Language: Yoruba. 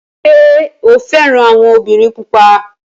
Ṣé o fẹ́ràn àwọn obìnrin pupa?